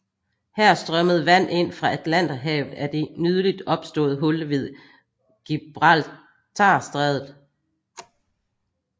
Her strømmede vand ind fra Atlanterhavet af det nyligt opståede hul ved Gibraltarstrædet